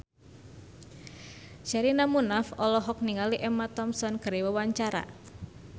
Sherina Munaf olohok ningali Emma Thompson keur diwawancara